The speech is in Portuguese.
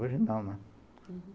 Hoje não, né? uhum.